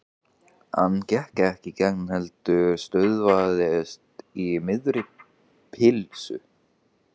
Hann gekk ekki í gegn heldur stöðvaðist í miðri pylsu.